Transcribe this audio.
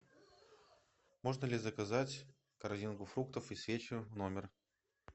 можно ли заказать корзинку фруктов и свечи в номер